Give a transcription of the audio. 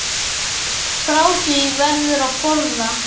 Frá því verður að forða.